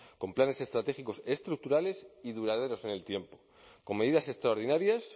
con planes estratégicos estructurales y duraderos en el tiempo con medidas extraordinarias